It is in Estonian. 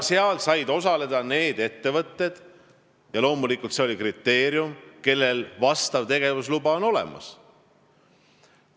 Seal said osaleda need ettevõtted – loomulikult oli see kriteerium –, kellel on tegevusluba olemas.